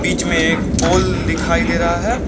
बीच में एक पोल दिखाई दे रहा है।